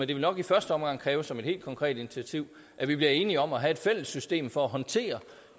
det vil nok i første omgang kræve som et helt konkret initiativ at vi bliver enige om at have et fælles system for at håndtere